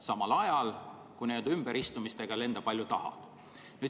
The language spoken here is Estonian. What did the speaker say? Samal ajal, kui ümberistumisega lenda palju tahad.